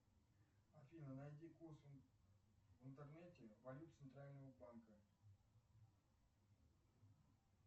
афина найди курс в интернете валют центрального банка